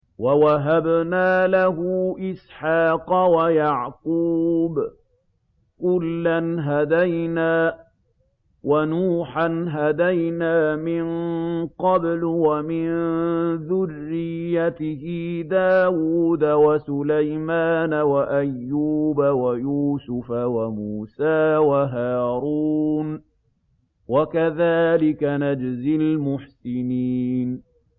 وَوَهَبْنَا لَهُ إِسْحَاقَ وَيَعْقُوبَ ۚ كُلًّا هَدَيْنَا ۚ وَنُوحًا هَدَيْنَا مِن قَبْلُ ۖ وَمِن ذُرِّيَّتِهِ دَاوُودَ وَسُلَيْمَانَ وَأَيُّوبَ وَيُوسُفَ وَمُوسَىٰ وَهَارُونَ ۚ وَكَذَٰلِكَ نَجْزِي الْمُحْسِنِينَ